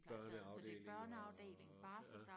børneafdeling og ja